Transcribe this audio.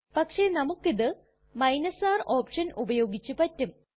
പക്ഷെ നമുക്കിത് R option ഉപയോഗിച്ച് പറ്റും